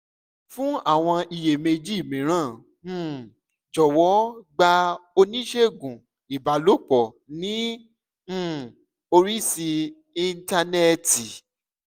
fún àwọn iyèméjì mìíràn um jọ̀wọ́ gba oníṣègùn ìbálòpọ̀ ní um orí íńtánẹ́ẹ̀tì